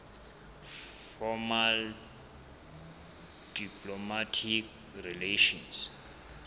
formal diplomatic relations